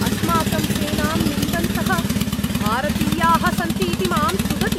अस्माकं सेनां निन्दन्तः भारतीयाः सन्ति इति मां तुदति।